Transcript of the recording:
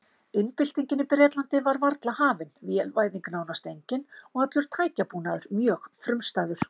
Iðnbyltingin í Bretlandi var varla hafin, vélvæðing nánast engin og allur tækjabúnaður mjög frumstæður.